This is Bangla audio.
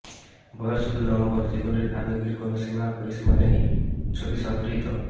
বয়স শুধুই নম্বর জীবনের আবেগের কোনও সীমা পরিসীমা নেই ছবি সংগৃহীত